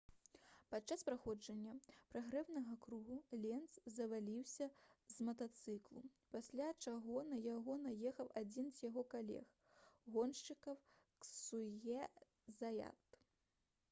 падчас праходжання прагрэўнага кругу ленц зваліўся з матацыклу пасля чаго на яго наехаў адзін з яго калег-гоншчыкаў ксаўе заят